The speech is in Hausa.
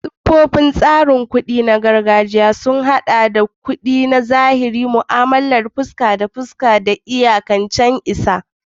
Siffofin tsarin kuɗi na gargajiya sun haɗa da kuɗi na zahiri, mu'amalar fuska da fuska, da iyakataccen isa ga.